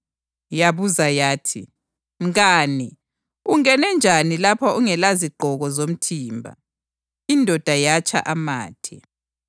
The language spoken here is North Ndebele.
Yabuza yathi, ‘Mngane, ungene njani lapha ungelazigqoko zomthimba?’ Indoda yatsha amathe.